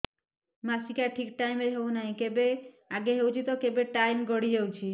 ମାସିକିଆ ଠିକ ଟାଇମ ରେ ହେଉନାହଁ କେବେ ଆଗେ ହେଇଯାଉଛି ତ କେବେ ଟାଇମ ଗଡି ଯାଉଛି